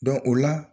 o la